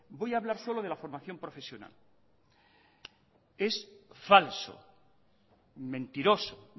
voy a hablar solo de la formación profesional es falso mentiroso